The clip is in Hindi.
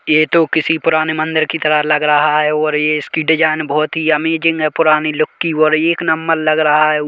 ये तो किसी पुराने मंदिर की तरह लग रहा है और ये इसकी डिजाइन बहुत ही अमेजिंग है पुराने लुक की और एक लग रहा है।